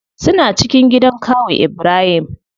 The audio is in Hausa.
Suna cikin gidan kawu ibrahim.